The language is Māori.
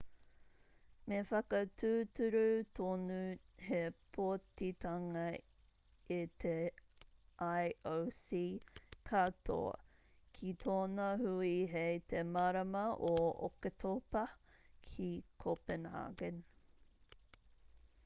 me whakatūturu tonu te pōtitanga e te ioc katoa ki tōna hui hei te marama o oketopa ki copenhagen